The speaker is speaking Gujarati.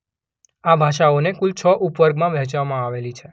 આ ભાષાઓને કુલ છ ઉપવર્ગોંમાં વહેંચવામાં આવેલી છે